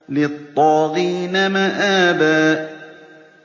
لِّلطَّاغِينَ مَآبًا